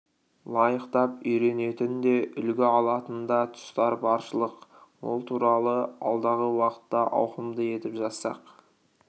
лайықтап үйренетін де үлгі алатын да тұстар баршылық ол туралы алдағы уақытта ауқымды етіп жазсақ